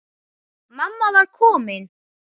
Mamma var komin.